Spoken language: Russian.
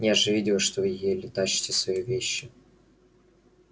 я же видела что вы еле тащите свои вещи